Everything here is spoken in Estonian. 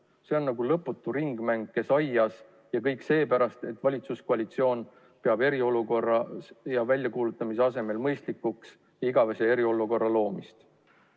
See on nagu lõputu ringmäng "Kes aias?" ja kõik seepärast, et valitsuskoalitsioon peab eriolukorra väljakuulutamise asemel mõistlikuks igavese eriolukorra loomist.